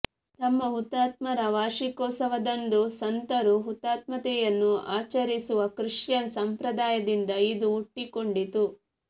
ತಮ್ಮ ಹುತಾತ್ಮರ ವಾರ್ಷಿಕೋತ್ಸವದಂದು ಸಂತರು ಹುತಾತ್ಮತೆಯನ್ನು ಆಚರಿಸುವ ಕ್ರಿಶ್ಚಿಯನ್ ಸಂಪ್ರದಾಯದಿಂದ ಇದು ಹುಟ್ಟಿಕೊಂಡಿತು